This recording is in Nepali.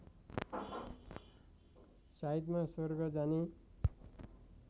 साइतमा स्वर्ग जाने